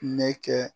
Ne kɛ